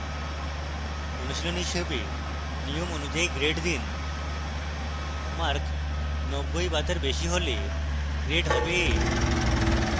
অনুশীলনী হিসাবে নিয়ম অনুযায়ী grades দিন: মার্ক 90 বা তার বেশী হলে grades হবে a